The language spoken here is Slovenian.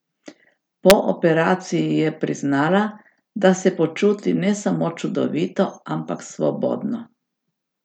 Po operaciji je priznala, da se počuti ne samo čudovito, ampak svobodno.